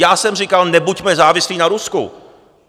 Já jsem říkal - nebuďme závislí na Rusku.